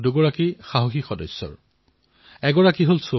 এটা হল সৌফী আৰু আনটো বিদা